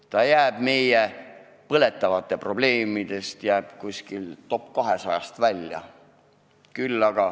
See jääb meie põletavate probleemide top-200-st välja.